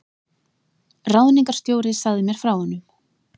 Ráðningarstjóri sagði mér frá honum.